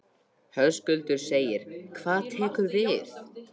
Höskuldur: Hvað tekur við?